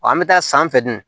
Wa an bɛ taa san fɛ dun